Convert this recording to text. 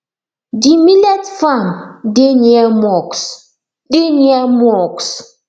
the millet farm deh near mosque deh near mosque